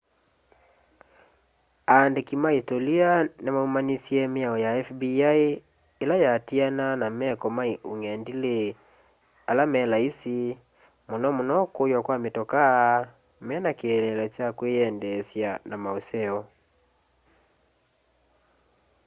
andĩkĩ ma ĩsĩtolĩ nĩmaũmanĩsye mĩao ya fbi ĩla yatĩĩanaa na meko ma ũngendĩlĩ ala me laĩsi mũno mũno kũywa kwa mĩtokaa mena kĩeleelo kya kwĩyendeesya na maũseo